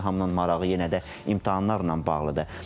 Hamının marağı yenə də imtahanlarla bağlıdır.